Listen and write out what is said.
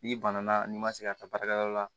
N'i banana n'i ma se ka taa baarakɛyɔrɔ la